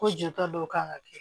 Ko jɔta dɔ kan ka kɛ